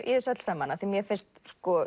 í þessu öllu saman af því mér finnst